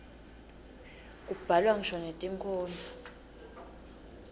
kubhalwa ngisho netinkhondlo